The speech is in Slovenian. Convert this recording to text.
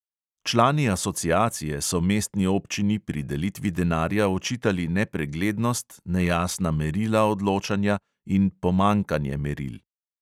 Člani asociacije so mestni občini pri delitvi denarja očitali nepreglednost, nejasna merila odločanja in pomanjkanje meril.